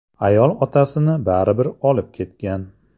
Ayol otasini baribir olib ketgan.